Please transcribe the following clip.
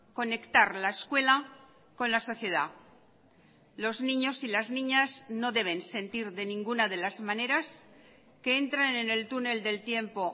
conectar la escuela con la sociedad los niños y las niñas no deben sentir de ninguna de las maneras que entran en el túnel del tiempo